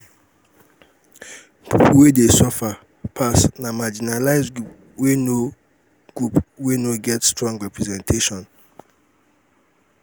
pipo wey go suffer pass na marginalized group wey no group wey no get strong representation